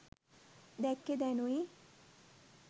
දැක්කේ දැනුයි.